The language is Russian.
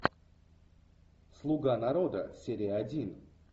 слуга народа серия один